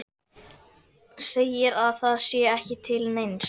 Segir að það sé ekki til neins.